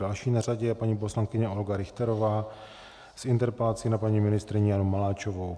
Další na řadě je paní poslankyně Olga Richterová s interpelací na paní ministryni Janu Maláčovou.